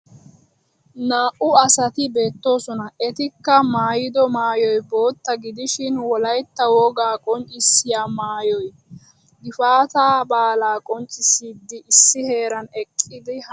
Naa"u asati beettoosona etikka maayido maayoy bootta gidishin wolaytta wogaa qonccissiya maayoy. Gifaataa balaa qonccissiiddi issi heeran eqqidi haasayiiddi beettoosona.